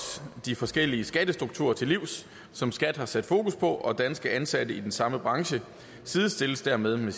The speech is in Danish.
de forskellige skattestruktur til livs som skat har sat fokus på og danske ansatte i den samme branche sidestilles dermed med